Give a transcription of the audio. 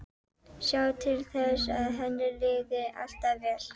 Sjá til þess að henni liði alltaf vel.